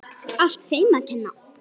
Allt þeim að kenna.!